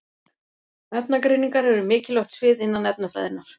Efnagreiningar eru mikilvægt svið innan efnafræðinnar.